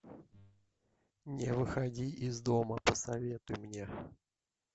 не выходи из дома посоветуй мне